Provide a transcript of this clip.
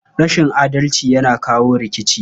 Rashin adalci yana kawo rikici.